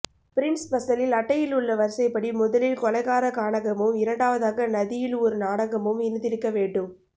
Prince ஸ்பெசலில் அட்டையில் உள்ள வரிசைப்படி முதலில் கொலைகார கானகமும் இரண்டாவதாக நதியில் ஒரு நாடகமும் இருந்திருக்க வேண்டும்